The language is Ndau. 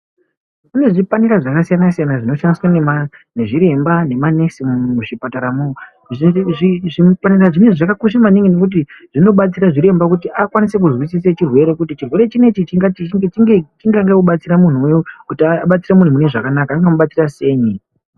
Kune zvipanera zvakasiyana siyana zvinoshandiswa nema nezviremba nemanesi muzvipataramo zvipanera zvinezvi zvakakosha maningi ngokuti zvinobatsira zviremba kuti akwanise kuzwisise chirwere kuti chirwere chinechi tingati chingange kubatsira munhu kuti abatsire munhu mune zvakanaka anga mubatsira senyi